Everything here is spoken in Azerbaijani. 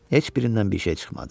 Heç birindən bir şey çıxmadı.